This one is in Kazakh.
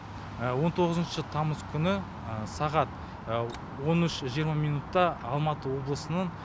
он тоғызыншы тамыз күні сағат он үш жиырма минутта алматы облысының